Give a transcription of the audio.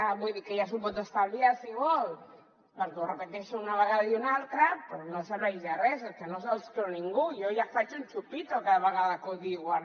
vull dir que ja s’ho pot estalviar si vol perquè ho repeteixen una vegada i una altra però no serveix de res és que no se’ls creu ningú jo ja faig un chupito cada vegada que ho diuen